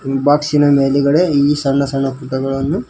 ಬಾಕ್ಸಿನ ಮೇಲೆಗಡೆ ಈ ಸಣ್ಣ ಸಣ್ಣ ಪುಟಗಳನ್ನು--